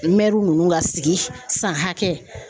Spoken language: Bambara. ninnu ka sigi san hakɛ